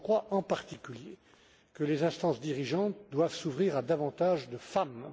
Je crois, en particulier, que les instances dirigeantes doivent s'ouvrir à davantage de femmes.